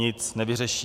Nic nevyřeší."